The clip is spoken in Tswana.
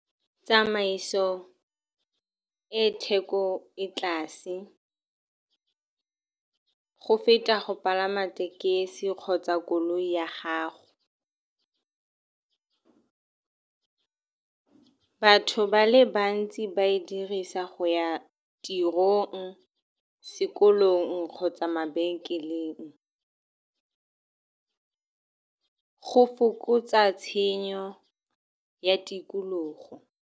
Tsamaiso e e theko e tlase go feta go palama tekesi kgotsa koloi ya gago. Batho ba le bantsi ba e dirisa go ya tirong, sekolong kgotsa mabenkeleng. Go fokotsa tshenyo ya tikologo.